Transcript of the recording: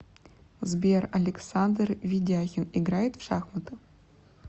сбер александр ведяхин играет в шахматы